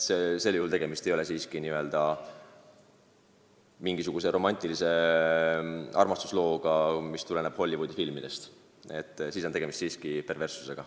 Sel juhul ei ole siiski tegemist romantilise armastuslooga nagu Hollywoodi filmides, tegemist oleks minu arvates siiski perverssusega.